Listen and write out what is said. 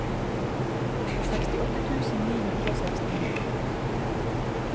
sekstiåtte tusen ni hundre og sekstini